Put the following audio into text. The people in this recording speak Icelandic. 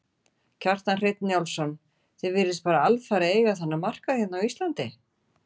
Kjartan Hreinn Njálsson: Þið virðist bara alfarið eiga þennan markað hérna á Íslandi?